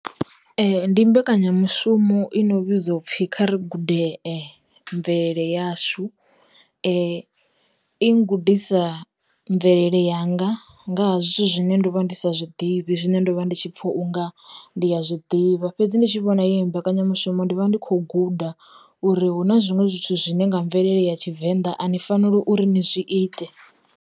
Ndi mbekanyamushumo i no vhidzwa upfhi kha ri gude mvelele yashu, i gudisa mvelele yanga nga ha zwithu zwine ndo vha ndi sa zwiḓivhi zwine ndo vha ndi tshi pfa unga ndi ya zwiḓivha, fhedzi ndi tshi vhona i mbekanyamushumo ndi vha ndi kho guda uri hu na zwiṅwe zwithu zwine nga mvelele ya tshivenḓa a ni faneli uri ni zwi ite.